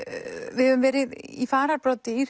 við höfum verið í fararbroddi í